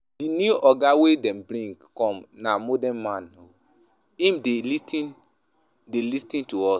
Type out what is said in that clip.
Di new oga wey dem bring come na modern man o, him dey lis ten to dey lis ten to us.